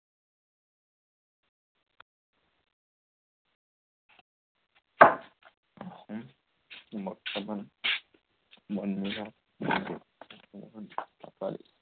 উম অসম বৰ্তমান, বন বিভাগ মন্ত্ৰী চন্দ্ৰমোহন পাটোৱাৰী।